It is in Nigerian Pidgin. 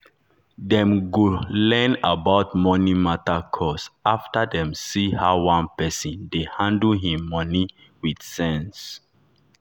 dem go learn about money matter course after dem see how one person dey handle him money with sense.